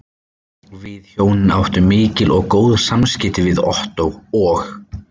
Við hjónin áttum mikil og góð samskipti við Ottó og